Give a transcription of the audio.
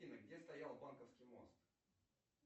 афина где стоял банковский мост